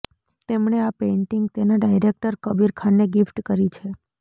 તેમણે આ પેઇન્ટિંગ તેના ડાયરેકટર કબીર ખાનને ગિફ્ટ કરી છે